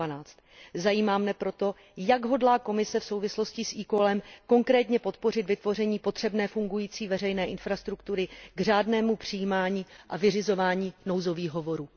112. Zajímá mne proto, jak hodlá Komise v souvislosti s e callem konkrétně podpořit vytvoření potřebné fungující veřejné infrastruktury k řádnému přijímání a vyřizování nouzových hovorů.